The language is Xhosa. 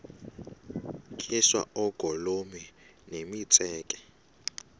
tyiswa oogolomi nemitseke